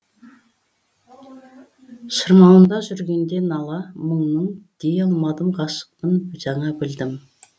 шырмауында жүргенде нала мұңның дей алмадым ғашықпын жаңа білдім